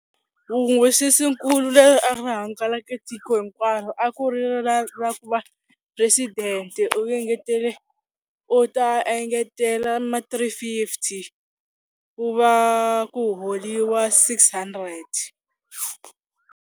nkulu leri a ri hangalake tiko hinkwaro a ku ri ra ra ku va phuresidente u engetele u ta engetela ma three fifty ku va ku holeliwa six hundred.